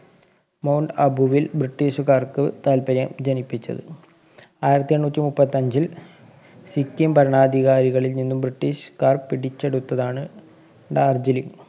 Mount Abu വില്‍ ബ്രിട്ടീഷുകാര്‍ക്ക് താല്‍പര്യം ജനിപ്പിച്ചത്. ആയിരത്തി എണ്ണൂറ്റി മുപ്പത്തഞ്ചില്‍ സിക്കിം ഭരണാധികാരികളില്‍ നിന്നും ബ്രിട്ടീഷുകാര്‍ പിടിച്ചെടുത്തതാണ് ഡാര്‍ജിലിംഗ്.